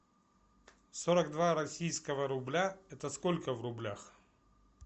сорок два российского рубля это сколько в рублях